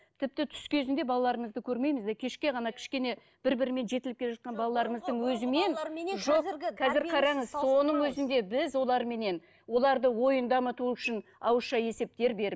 тіпті түс кезінде балаларымызды көрмейміз де кешке ғана кішкене бір бірімен жетіліп келе жатқан балаларымыздың өзімен қазір қараңыз соның өзінде біз оларменен олардың ойын дамыту үшін ауызша есептер беріп